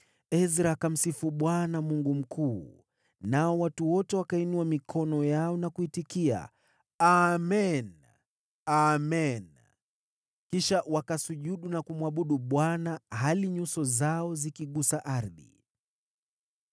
Ezra akamsifu Bwana , Mungu mkuu, nao watu wote wakainua mikono yao na kuitikia, “Amen! Amen!” Kisha wakasujudu na kumwabudu Bwana hali nyuso zao zikigusa ardhi.